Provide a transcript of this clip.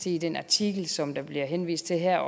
i den artikel som der bliver henvist til her